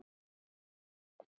Og svo má telja.